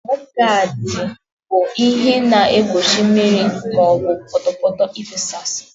Mọdgaadị bụ ihe na-egbochi mmiri maọbụ pọtọ pọtọ ịfesasị.